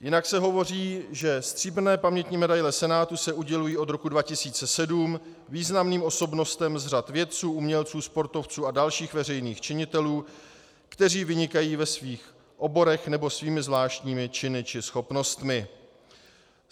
Jinak se hovoří, že stříbrné pamětní medaile Senátu se udělují od roku 2007 významným osobnostem z řad vědců, umělců, sportovců a dalších veřejných činitelů, kteří vynikají ve svých oborech nebo svými zvláštními činy či schopnostmi.